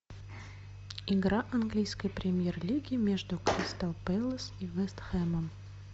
игра английской премьер лиги между кристал пэлас и вест хэмом